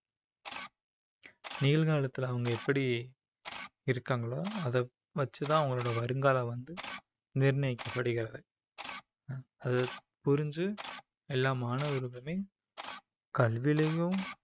நிகழ்காலத்துல அவங்க எப்படி இருக்காங்களோ அதை வச்சுதான் அவங்களோட வருங்காலம் வந்து நிர்ணயிக்கப்படுகிறது அது புரிஞ்சு எல்லா மாணவர்களுமே கல்விலையும்